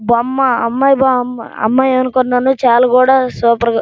బొమ్మ అమ్మాయి బొమ్మ అమ్మాయి అనుకున్నాను సూపర్ ఉంది.